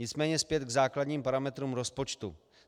Nicméně zpět k základním parametrům rozpočtu.